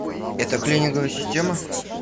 это клининговая система